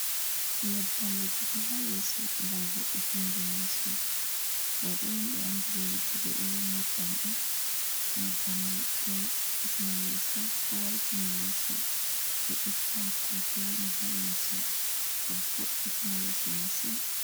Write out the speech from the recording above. Nyebbam wujugo ha yeso gam vo’itingo yeso. Raube on be andi be wujugo iri nyebbam ɗo. nyebbam mai do ɗiggiitina yeso. Ɗo waltina yeso, do itta pufe woni ha yeso do vo’itina yeso masin.